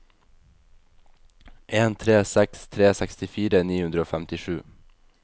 en tre seks tre sekstifire ni hundre og femtisju